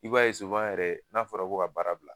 I b'a ye yɛrɛ n'a fɔra ko ka baara bila